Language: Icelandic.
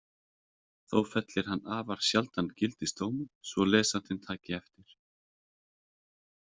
Þó fellir hann afar sjaldan gildisdóma svo lesandinn taki eftir.